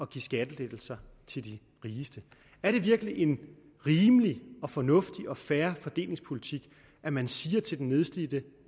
give skattelettelser til de rigeste er det virkelig en rimelig fornuftig og fair fordelingspolitik at man siger til den nedslidte